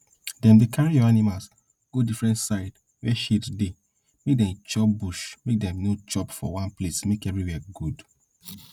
dem dey carry your animals go different side wey shade dey make dem chop bush make dem no chop for one place make everywhere good